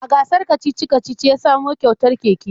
A gasar kacici-kacici ya samo kyautar keke